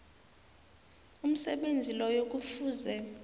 umsebenzi loyo kufuze